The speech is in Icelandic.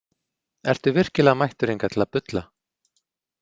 Ertu virkilega mættur hingað til að bulla?